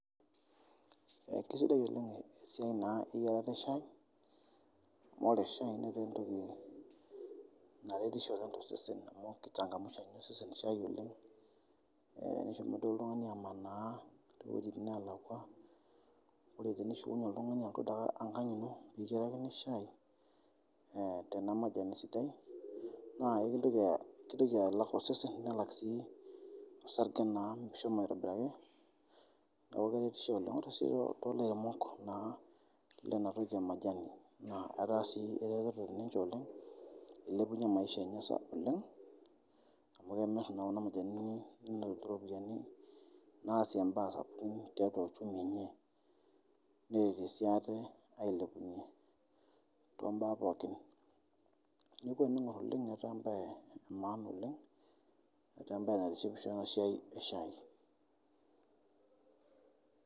Kesidai oleng esiaai naa eyarata eshai amu ore eshaii netaa entoki naretisho too sesen amu keichangamsha osese eshai oleng, nishomo duo oltungani amanaa te wejitin naalakwa ore teinshukunye oltungani aaku itii ake enkang' ino nikityarakini shai tena majani sidai ekintoki alak osesen, nelak sii osarge naa meshomo aitobiraki neaku keretisho oleng, ore sii yook too laremok naa le ena toki emajani naa etaa sii rereto ninche oleng eilepunye maisha enye sapuk oleng amu kemir naa kuna majanini netum iropiyiani naasie imbaa sapukin teatua loshoo ,neretie sii ate ailepunye too mbaa pookin, neaku eniing]or oleng etaa embaye emaana oleng, etaaembaye naitishipisho ena siaai eshai.